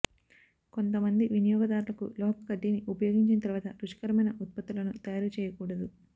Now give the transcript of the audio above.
కొంతమంది వినియోగదారులకు లోహపు కడ్డీని ఉపయోగించిన తర్వాత రుచికరమైన ఉత్పత్తులను తయారు చేయకూడదు